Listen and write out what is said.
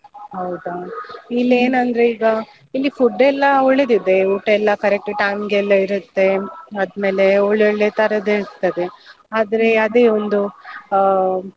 ಹೌದಾ, ಇಲ್ಲೇನಂದ್ರೆ ಈಗ, ಇಲ್ಲಿ food ಎಲ್ಲ ಒಳ್ಳೆದಿದೆ, ಊಟ ಎಲ್ಲ correct time ಗೆಲ್ಲ ಇರುತ್ತೆ, ಆದ್ಮೇಲೆ ಒಳ್ಳೆ ಒಳ್ಳೆ ತರದ್ದು ಇರ್ತದೆ, ಆದ್ರೆ ಅದೇ ಒಂದು ಆ.